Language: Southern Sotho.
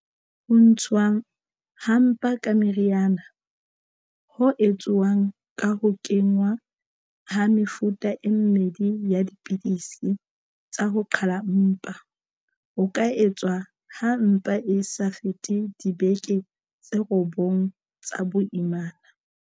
Ho ntshuwa ha mpa ka meriana, ho etsuwang ka ho kenngwa ha mefuta e mmedi ya dipidisi tsa ho qhala mpa, ho ka etswa ha mpa e sa fete dibeke tse robong tsa boimana.